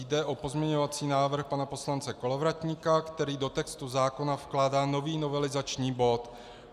Jde o pozměňovací návrh pana poslance Kolovratníka, který do textu zákona vkládá nový novelizační bod.